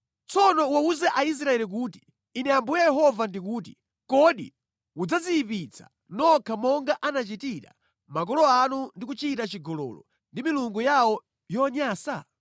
“Tsono uwawuze Aisraeli kuti, ‘Ine Ambuye Yehova ndikuti: Kodi mudzadziyipitsa nokha monga anachitira makolo anu ndi kuchita chigololo ndi milungu yawo yonyansa?